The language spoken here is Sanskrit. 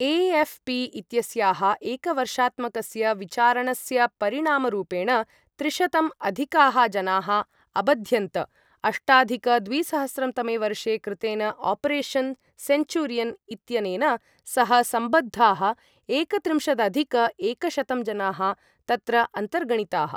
ए.एफ्.पि. इत्यस्याः एकवर्षात्मकस्य विचारणस्यपरिणामरूपेण त्रिशतं अधिकाः जनाः अबध्यन्त, अष्टाधिक द्विसहस्रं तमे वर्षे कृतेन आपरेशन् सेन्चूरियन् इत्यनेन सह संबद्धाः एकत्रिंशदधिक एकशतं जनाः तत्र अन्तर्गणिताः।